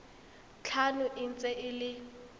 tlhano e ntse e le